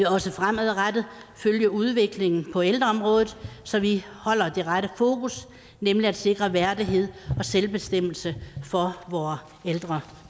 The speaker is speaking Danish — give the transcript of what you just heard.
også fremadrettet følge udviklingen på ældreområdet så vi holder det rette fokus nemlig at sikre værdighed og selvbestemmelse for vore ældre